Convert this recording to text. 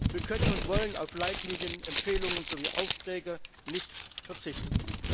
Wir können und wollen auf Leitlinien, Empfehlungen sowie Aufträge nicht verzichten.